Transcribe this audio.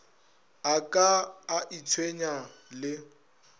a ka a itshwenya le